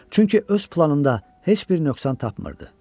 Çünki öz planında heç bir nöqsan tapmırdı.